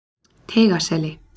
Teigaseli